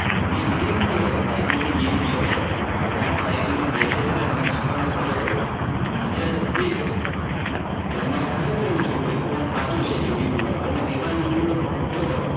મેં video મુકેલો હતો કે IPL ની game જોવો કે IPL ને વેચે છે ને તમે કોને follow કરો છો અને હજે હજે એક વસ્તુ કે તમારે ખરેખર એવું જોવું હોય કે કોણ સાચું છે you tube પર તો તમે એવા you tuber ને ગોતો